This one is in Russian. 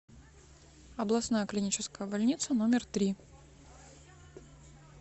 областная клиническая больница номер три